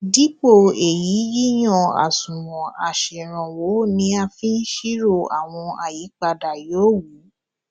dipo eyi yíyan àṣùwòn aseranwo ni a fi n siro awon ayipada yoowu